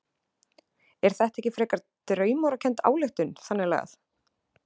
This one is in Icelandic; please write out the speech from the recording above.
Er þetta ekki frekar draumórakennd ályktun þannig lagað?